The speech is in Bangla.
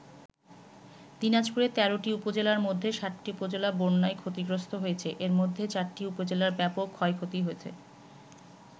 দিনাজপুরের ১৩ টি উপজেলার মধ্যে ৭টি উপজেলা বন্যায় ক্ষতিগ্রস্ত হয়েছে, এর মধ্যে ৪টি উপজেলায় ব্যাপক ক্ষয়ক্ষতি হয়েছে।